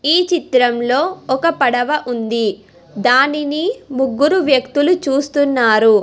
ఈ చిత్రంలో ఒక పడవ ఉంది దానిని ముగ్గురు వ్యక్తులు చూస్తున్నారు.